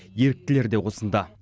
еріктілер де осында